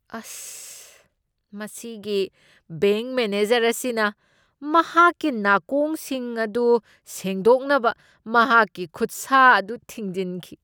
ꯑꯁ꯫ ꯃꯁꯤꯒꯤ bank manager ꯑꯁꯤꯅ ꯃꯍꯥꯛꯀꯤ ꯅꯥꯀꯣꯡꯁꯤꯡ ꯑꯗꯨ ꯁꯦꯡꯗꯣꯛꯅꯕ ꯃꯍꯥꯛꯀꯤ ꯈꯨꯠꯁꯥ ꯑꯗꯨ ꯊꯤꯟꯖꯤꯟꯈꯤ꯫